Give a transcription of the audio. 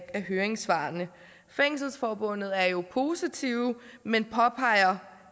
af høringssvarene fængselsforbundet er jo positive men påpeger